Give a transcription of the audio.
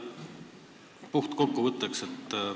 Puht kokkuvõtteks.